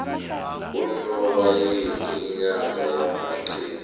unobayeni inyanga yamaqude